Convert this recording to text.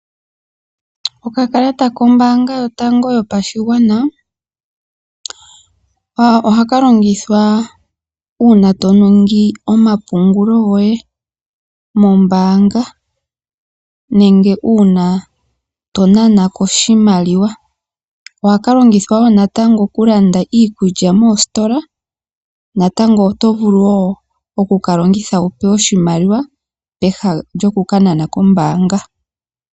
Okakalata kombaanga yotango yopashigwana , ohaka longithwa uuna toningi omapungulo goye mombaanga, nenge uuna tonanako oshimaliwa. Ihaka lkngithwa woo natango okulanda iikukya moositola. Natango oto vulu woo okukalongitha wu pewe oshimaliwa peha lyo kukanana kombaanga.